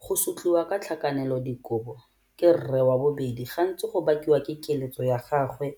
Go sotliwa ka tlhakanelodikobo ke rre wa bobedi gantsi go bakiwa ke keletso ya gagwe